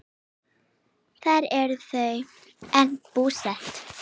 Þar eru þau enn búsett.